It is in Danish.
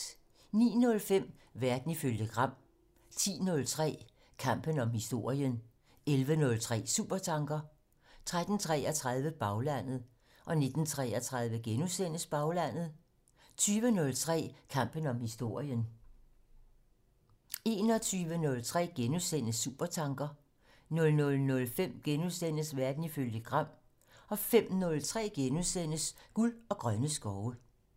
09:05: Verden ifølge Gram 10:03: Kampen om historien 11:03: Supertanker 13:33: Baglandet 19:33: Baglandet * 20:03: Kampen om historien * 21:03: Supertanker * 00:05: Verden ifølge Gram * 05:03: Guld og grønne skove *